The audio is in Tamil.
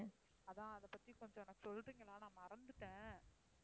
அதான் அதைப் பத்தி கொஞ்சம் எனக்குச் சொல்றீங்களா நான் மறந்துட்டேன்.